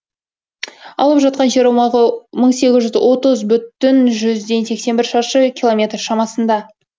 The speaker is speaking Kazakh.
алып жатқан жер аумағы мың сегіз жүз отыз бүтін жүзден сексен бір шаршы километр шамасында